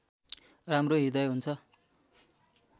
राम्रो हृदय हुन्छ